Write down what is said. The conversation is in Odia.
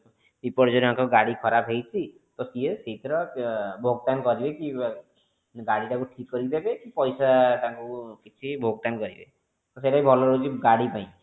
ବିପର୍ଜନକ ଗାଡି ଖରାପ ହେଇଛି ତ ସିଏ ଶୀଘ୍ର ଭୋକ୍ତାନ କରିବେ କି ଗାଡି ଟାକୁ ଠିକ କରିକି ଦେବେ କି ପଇସା ତାଙ୍କୁ କିଛି ଭୋକ୍ତାନ କରିବେ ତ ସେଟା ବି ଭଲ ରହିବ ଗାଡି ପାଇଁ